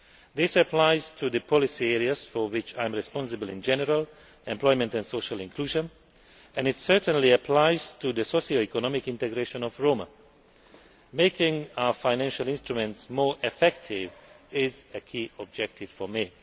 This applies to the policy areas for which I am responsible in general employment and social inclusion and it certainly applies to the socio economic integration of Roma. Making our financial instruments more effective is a key objective for me.